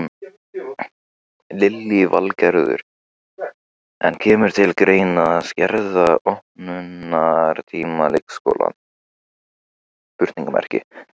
Lillý Valgerður: En kemur til greina að skerða opnunartíma leikskólana?